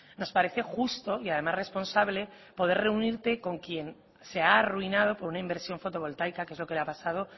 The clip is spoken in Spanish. nos parece justo y además responsable poder reunirte con quien se ha arruinado por una inversión fotovoltaica que es lo que le ha pasado